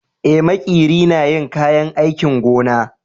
Eh, makeri na yin kayan aikin gona.